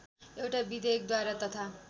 एउटा विधेयकद्वारा तथा